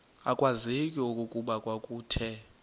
akwazeki okokuba kwakuthe